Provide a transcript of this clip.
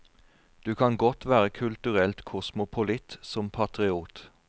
Du kan godt være kulturelt kosmopolitt som patriot.